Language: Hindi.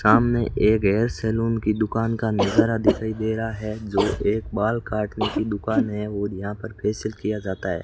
सामने एक हेयर सलून की दुकान का नजारा दिखाई दे रहा है जो एक बाल काटने की दुकान है और यहां पर फेशियल किया जाता है।